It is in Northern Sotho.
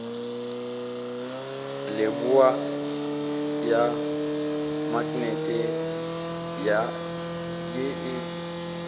leboa ya maknete ye e